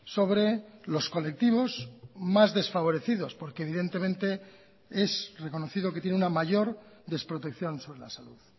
sobre los colectivos más desfavorecidos porque evidentemente es reconocido que tiene una mayor desprotección sobre la salud